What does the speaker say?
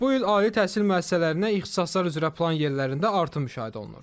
Bu il ali təhsil müəssisələrinə ixtisaslar üzrə plan yerlərində artım müşahidə olunur.